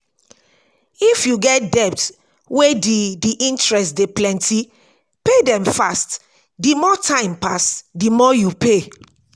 if you get debt wey di di interest dey plenty pay dem fast di more time pass di more you pay